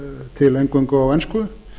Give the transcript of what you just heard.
til eingöngu á ensku